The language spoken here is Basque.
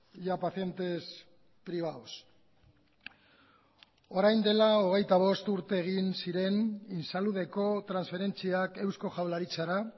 y a pacientes privados orain dela hogeita bost urte egin ziren insaludeko transferentziak eusko jaurlaritzara